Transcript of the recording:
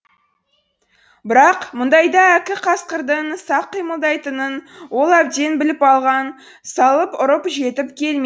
бірақ мұндайда әккі қасқырдың сақ қимылдайтынын ол әбден біліп алған салып ұрып жетіп келмей